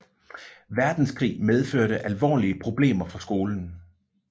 Verdenskrig medførte alvorlige problemer for skolen